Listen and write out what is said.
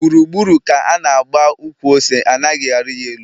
Gburu gburu ka ana agba ukwu ose anaghi ari ya elu